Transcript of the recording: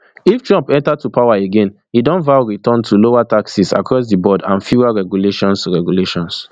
if trump enta to power again e don vow return to lowertaxesacross di board and fewer regulations regulations